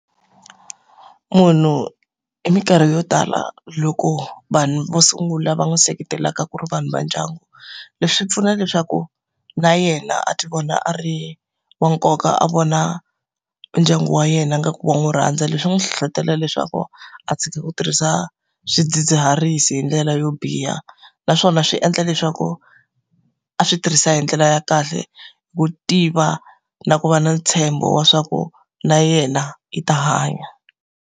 Munhu hi minkarhi yo tala loko vanhu vo sungula va n'wi seketelaka ku ri vanhu va ndyangu, leswi swi pfuna leswaku na yena a ti vona a ri wa nkoka, a vona ndyangu wa yena ingaku wa n'wi rhandza. Leswi n'wi hlohlotelo leswaku a tshika ku tirhisa swidzidziharisi hi ndlela yo biha. Naswona swi endla leswaku a swi tirhisa hi ndlela ya kahle, hi ku tiva na ku va na ntshembo wa swa ku na yena i ta hanya.